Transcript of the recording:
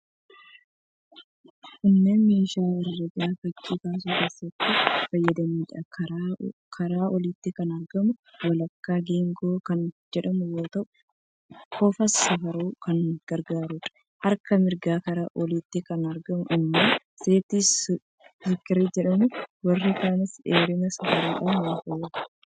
Kunneen meeshaa herregaafi fakkii kaasuu keessatti fayyadaniidha. Karaa oliitiin kan argamu walakkaa geengoo kan jedhamu yoo ta'u, kofa safaruuf kan gargaaruudha. Harka mirgaa karaa oliitiin kan argamu immoo 'set square' jedhama. Warri kaanis dheerina safaruudhaaf ni fayyadu.